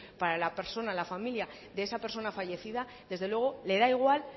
para la persona la familia de esa persona fallecida desde luego le da igual